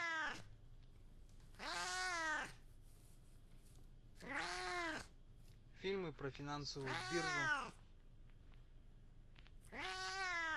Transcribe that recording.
фильмы про финансовую биржу